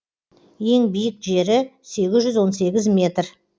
ең биік жері сегіз жүз он сегіз метр